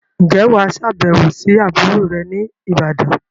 Ǹjẹ́ wà á sàbẹ̀wò sí àbúrò rẹ ní'bàdàn?